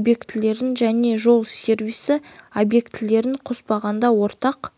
объектілерін және жол сервисі объектілерін қоспағанда ортақ